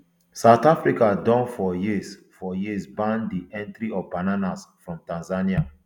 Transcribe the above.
south africa don for years for years ban di entry of bananas from tanzania